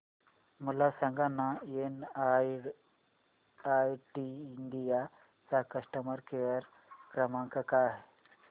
मला सांगाना NIIT India चा कस्टमर केअर क्रमांक काय आहे